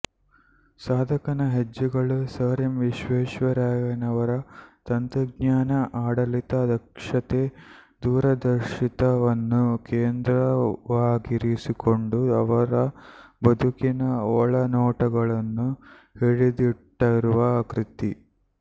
ಸಾಧಕನ ಹೆಜ್ಜೆಗಳು sir M ವಿಶ್ವೇಶ್ವರಯ್ಯನವರ ತಂತ್ರಜ್ಞಾನ ಆಡಳಿತ ದಕ್ಷತೆ ದೂರದರ್ಶಿತ್ವವನ್ನು ಕೇಂದ್ರವಾಗಿರಿಸಿಕೊಂಡು ಅವರ ಬದುಕಿನ ಒಳನೋಟಗಳನ್ನು ಹಿಡಿದಿಟ್ಟರುವ ಕೃತಿ